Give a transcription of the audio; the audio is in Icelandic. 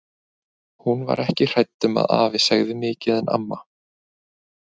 Hún var ekki hrædd um að afi segði mikið en amma.